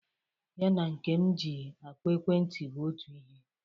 Ya na nke m ji akpọ ekwentị bụ otu ihe.